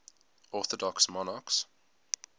orthodox monarchs